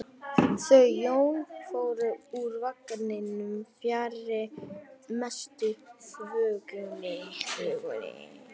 Þau Jón fóru úr vagninum fjarri mestu þvögunni.